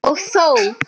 Og þó